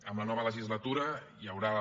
amb la nova legislatura hi haurà